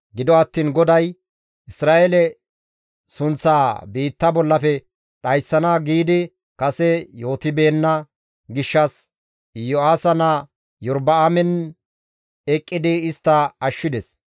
Gido attiin GODAY Isra7eele sunththaa biitta bollafe dhayssana giidi kase yootibeenna gishshas Yo7aasa naa Iyorba7aamen eqqidi istta ashshides.